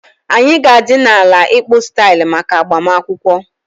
Anyị ga-adị na ala ịkpụ style maka agbamakwụkwọ